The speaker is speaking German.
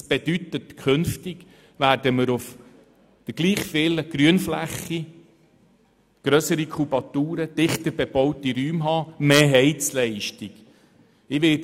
Dies bedeutet, dass wir künftig auf der gleich grossen Grünfläche grössere Kubaturen, dichter bebaute Räume und mehr Heizleistung haben werden.